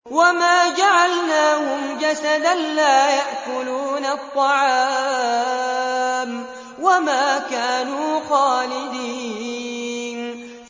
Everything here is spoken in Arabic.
وَمَا جَعَلْنَاهُمْ جَسَدًا لَّا يَأْكُلُونَ الطَّعَامَ وَمَا كَانُوا خَالِدِينَ